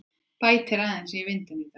Bætir aðeins í vind í dag